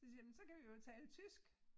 Så siger jeg men så kan vi jo tale tysk